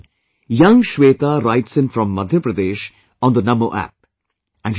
My dear countrymen, young Shweta writes in from Madhya Pradesh on the NaMo app